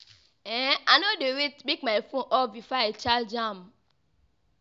um I no dey wait make my fone off before I charge am.